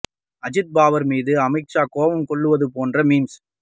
அஜித் பவார் மீது அமித் ஷா கோபம் கொள்வது போன்ற மீம்ஸ்